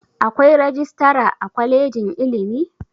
Akwai rajistara a kwalejin ilimi?